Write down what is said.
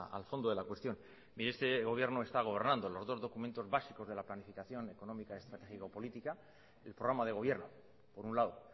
al fondo de la cuestión mire este gobierno está gobernando los dos documentos básicos de la planificación económica estratégico política el programa de gobierno por un lado